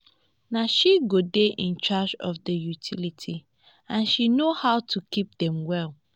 na she go dey in charge of the utilities and she no how to keep dem well